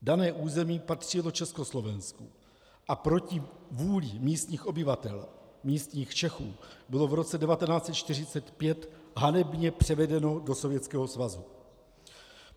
Dané území patřilo Československu a proti vůli místních obyvatel, místních Čechů, bylo v roce 1945 hanebně převedeno do Sovětského svazu.